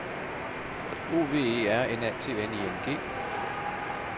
O V E R N A T N I N G